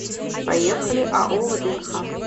поехали ао вднх